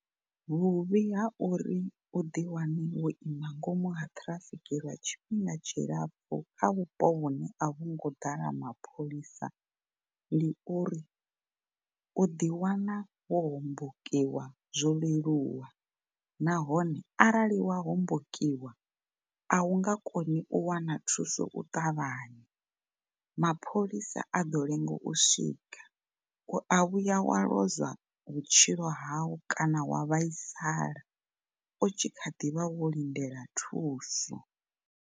Vhuvhi ha uri u ḓi wane wo ima nga ngomu ha ṱhirafiki lwa tshifhinga tshilapfu kha vhupo vhune a vhungo ḓala mapholisa ndi uri u ḓi wana wo hombokiwa zwo leluwa nahone arali wa hombokiwa a u nga koni u wana thuso u ṱavhanya, mapholisa a ḓo lenga u swika, u a vhuya wa lozwa vhutshilo hau kana wa vhaisala u tshi kha ḓivha wo lindela thuso.